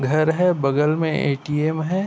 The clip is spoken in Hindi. घर हैं बगल में एटीएम है।